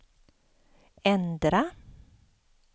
ändra